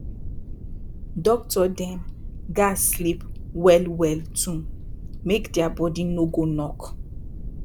doctor dem gats sleep well well too make dia bodi no go knock